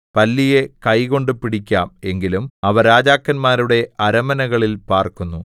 പല്ലിയെ കൈകൊണ്ട് പിടിക്കാം എങ്കിലും അവ രാജാക്കന്മാരുടെ അരമനകളിൽ പാർക്കുന്നു